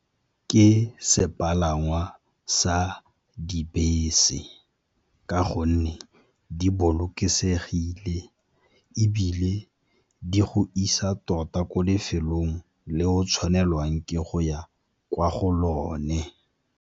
Ke sepalangwa sa dibese ka gonne di bolokesegile, ebile di go isa tota ko lefelong le o tshwanelwang ke go ya kwa go lone.